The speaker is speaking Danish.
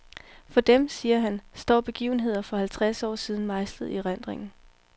For dem, siger han, står begivenheder for halvtreds år siden mejslet i erindringen.